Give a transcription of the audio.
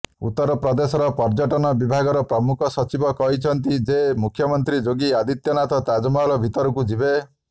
ଉତ୍ତର ପ୍ରଦେଶର ପର୍ଯ୍ୟଟନ ବିଭାଗର ପ୍ରମୁଖ ସଚିବ କହିଛନ୍ତି ଯେ ମୁଖ୍ୟମନ୍ତ୍ରୀ ଯୋଗୀ ଆଦିତ୍ୟନାଥ ତାଜମହଲ ଭିତରକୁ ଯିବେ